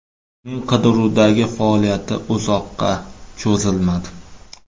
Uning qidiruvdagi faoliyati uzoqqa cho‘zilmadi.